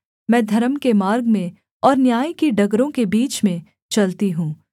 मैं धर्म के मार्ग में और न्याय की डगरों के बीच में चलती हूँ